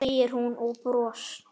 segir hún og bros